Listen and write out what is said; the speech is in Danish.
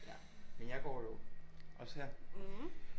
Men jeg går jo også her